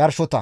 yarshota.